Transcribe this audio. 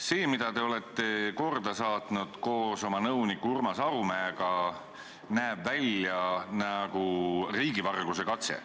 See, mida te olete koos oma nõuniku Urmas Arumäega korda saatnud, näeb välja nagu riigivarguse katse.